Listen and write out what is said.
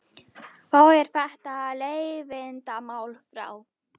Þá er þetta leiðindamál frá.